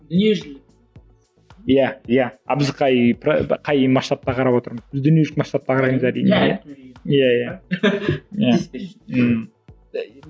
дүниежүзілік иә иә а біз қай қай масштабқа қарап отырмыз біз дүниежүзілік масштабқа қараймыз әрине иә